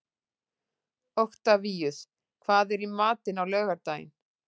Oktavíus, hvað er í matinn á laugardaginn?